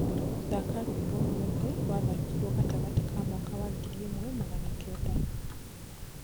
thaka rwĩmbo ruothe rwa thakirwo gatagati ka mwaka wa ngiriĩmwe magana kenda